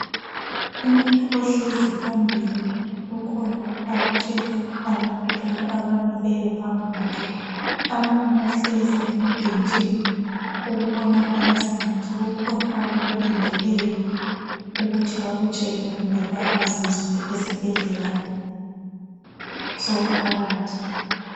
Umuntu ohlezi phambili kukhona akutshela abantu laba abamileyo phambi kwakhe. Abanye bahlezi emabhentshini okubonakala sengathi kukhona abakulindeleyo ukuthi bakutshelwe kumbe bakwaziswe esibhedlela somphakathi.